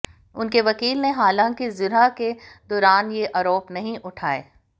उनके वकील ने हालांकि जिरह के दौरान ये आरोप नहीं उठाए